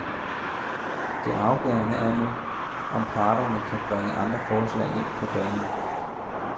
Det afgørende er nu, om parterne kan bringe andre forslag ind på banen.